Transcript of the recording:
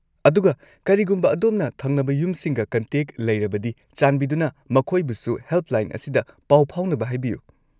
ꯑꯗꯨꯒ, ꯀꯔꯤꯒꯨꯝꯕ ꯑꯗꯣꯝꯅ ꯊꯪꯅꯕ ꯌꯨꯝꯁꯤꯡꯒ ꯀꯟꯇꯦꯛ ꯂꯩꯔꯕꯗꯤ, ꯆꯥꯟꯕꯤꯗꯨꯅ ꯃꯈꯣꯏꯕꯨꯁꯨ ꯍꯦꯜꯞꯂꯥꯏꯟ ꯑꯁꯤꯗ ꯄꯥꯎ ꯐꯥꯎꯅꯕ ꯍꯥꯏꯕꯤꯌꯨ꯫